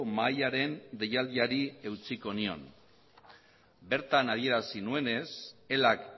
mahaiaren deialdiari eutsiko nion bertan adierazi nuenez elak